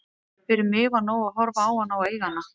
Fyrir mig var nóg að horfa á hana og eiga hana.